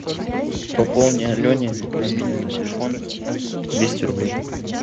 пополни алене мобильный телефон двести рублей